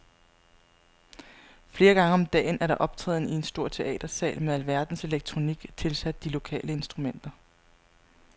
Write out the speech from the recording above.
Flere gange om dagen er der optræden i en stor teatersal med alverdens elektronik tilsat de lokale instrumenter.